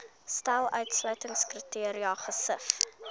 stel uitsluitingskriteria gesif